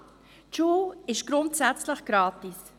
Aber: Die Schule ist grundsätzlich gratis.